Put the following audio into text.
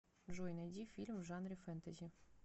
джой найди фильм в жанре фэнтэзи